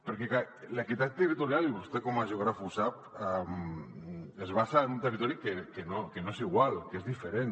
perquè és clar l’equitat territorial i vostè com a geògraf ho sap es basa en un territori que no és igual que és diferent